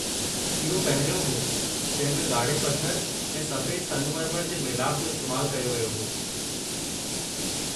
इहो पहिरियों हो जंहिं में ॻाढ़े पथर ऐं सफ़ेद संगमरमर जे मेलाप जो इस्तैमालु कयो वियो हो।